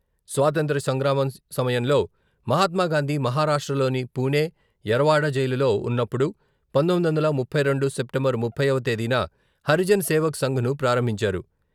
స్వాతంత్ర సంగ్రామ సమయంలో మహాత్మాగాంధీ మహారాష్ట్రలోని పూణె, యరవాడ జైలులో ఉన్నప్పుడు పంతొమ్మిది వందల ముప్పై రెండు సెప్టెంబర్ ముప్పైవ తేదీన హరిజన్ సేవక్ సంఘ్‌ను ప్రారంభించారు.